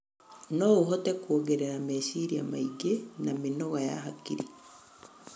No ũhote kuongerera meciria maingĩ na mĩnoga ya hakiri.